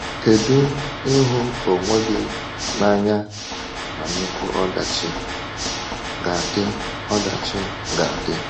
Kedu “ịhụ onwe gị n’anya na nnukwu ọdachi” ga-adị! ọdachi” ga-adị!